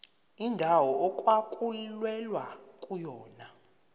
indawo okwakulwelwa kuyona